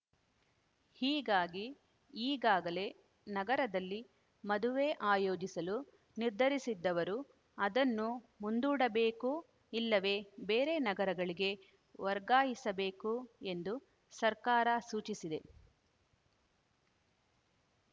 ಹೀಗಾಗಿ ಈಗಾಗಲೇ ನಗರದಲ್ಲಿ ಮದುವೆ ಆಯೋಜಿಸಲು ನಿರ್ಧರಿಸಿದ್ದವರು ಅದನ್ನು ಮುಂದೂಡಬೇಕು ಇಲ್ಲವೇ ಬೇರೆ ನಗರಗಳಿಗೆ ವರ್ಗಾಯಿಸಬೇಕು ಎಂದು ಸರ್ಕಾರ ಸೂಚಿಸಿದೆ